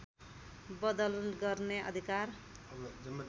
बदल गर्ने अधिकार